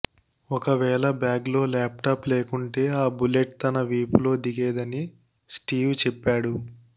ఒకవేళ బ్యాగ్లో ల్యాప్టాప్ లేకుంటే ఆ బుల్లెట్ తన వీపులో దిగేదని స్టీవ్ చెప్పాడు